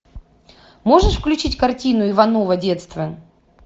можешь включить картину иваново детство